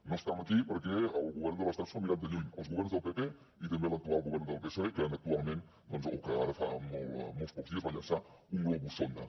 no estem aquí perquè el govern de l’estat s’ho mirat de lluny els governs del pp i també l’actual govern del psoe que actualment o que ara fa molts pocs dies va llançar un globus sonda